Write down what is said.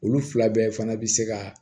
Olu fila bɛɛ fana bi se ka